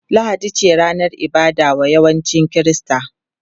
Lahadi ce ranar ibada wa yawancin Kirista.